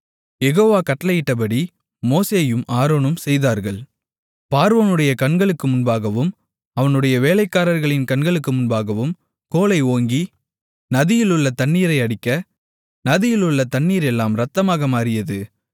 யெகோவா கட்டளையிட்டபடி மோசேயும் ஆரோனும் செய்தார்கள் பார்வோனுடைய கண்களுக்கு முன்பாகவும் அவனுடைய வேலைக்காரர்களின் கண்களுக்கு முன்பாகவும் கோலை ஓங்கி நதியிலுள்ள தண்ணீரை அடிக்க நதியிலுள்ள தண்ணீரெல்லாம் இரத்தமாக மாறியது